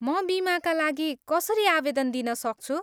म बिमाका लागि कसरी आवेदन दिन सक्छु?